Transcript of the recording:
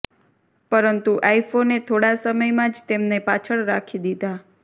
પરંતુ આઈફોને થોડા સમયમાં જ તેમને પાછળ રાખી દીધા